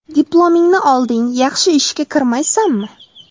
Diplomingni olding, yaxshi ishga kirmaysanmi?